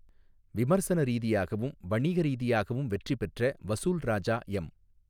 விமர்சன ரீதியாகவும், வணிக ரீதியாகவும் வெற்றி பெற்ற வசூல் ராஜா எம்.